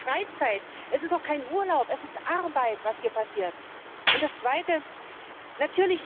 Das ist doch keine Freizeit, es ist auch kein Urlaub, es ist Arbeit, was hier gemacht wird!